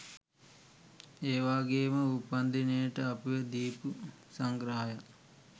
ඒවගේම උපන්දිනයට අපිට දීපු සංග්‍රහයටත්